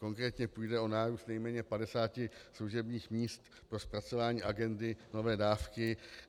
Konkrétně půjde o nárůst nejméně 50 služebních míst pro zpracování agendy nové dávky.